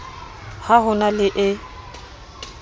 ha ho na le e